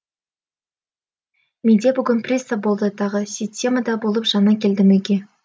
менде бүгін приступ болды тағы системада болып жаңа келдім үйге